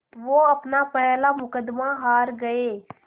वो अपना पहला मुक़दमा हार गए